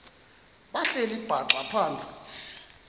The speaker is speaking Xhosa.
behleli bhaxa phantsi